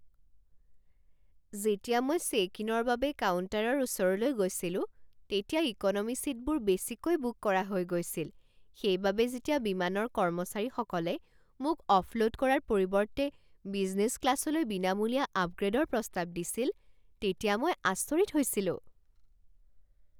যেতিয়া মই চেক ইনৰ বাবে কাউণ্টাৰৰ ওচৰলৈ গৈছিলো তেতিয়া ইকন'মী ছিটবোৰ বেছিকৈ বুক কৰা হৈ গৈছিল সেইবাবে যেতিয়া বিমানৰ কৰ্মচাৰীসকলে মোক অফলোড কৰাৰ পৰিৱৰ্তে বিজনেছ ক্লাছলৈ বিনামূলীয়া আপগ্ৰে'ডৰ প্ৰস্তাৱ দিছিল তেতিয়া মই আচৰিত হৈছিলোঁ।